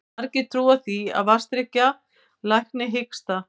Margir trúa því að vatnsdrykkja lækni hiksta.